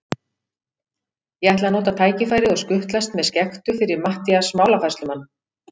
Ég ætlaði að nota tækifærið og skutlast með skektu fyrir Matthías málafærslumann.